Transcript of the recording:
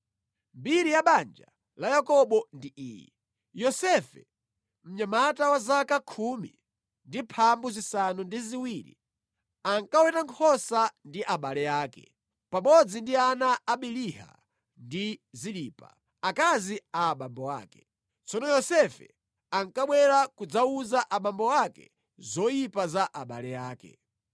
Mbiri ya banja la Yakobo ndi iyi: Yosefe, mnyamata wa zaka 17 ankaweta nkhosa ndi abale ake, pamodzi ndi ana a Biliha ndi Zilipa, akazi a abambo ake. Tsono Yosefe ankabwera kudzawuza abambo ake zoyipa za abale ake.